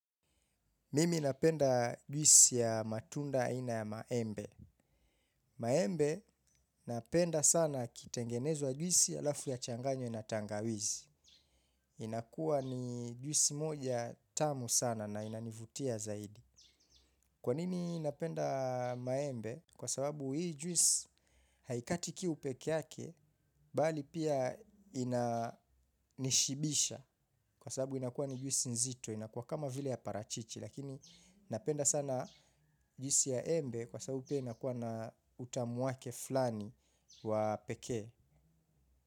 Mimi napenda juisi ya matunda aina ya maembe. Maembe napenda sana kitengenezwa juisi halafu yachanganywe na tangawizi. Inakuwa ni juisi moja tamu sana na inanivutia zaidi. Kwa nini napenda maembe? Kwa sababu hii juisi haikatiki kiu peke yake, bali pia inanishibisha. Kwa sababu inakuwa ni juisi nzito, inakuwa kama vile ya parachichi. Lakini napenda sana juisi ya embe kwa sababu pia inakuwa na utamu wake flani wa pekee.